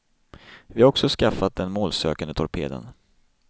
Vi har också skaffat den målsökande torpeden.